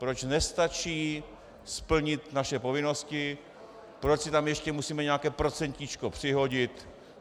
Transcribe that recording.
Proč nestačí splnit naše povinnosti, proč si tam ještě musíme nějaké procentíčko přihodit?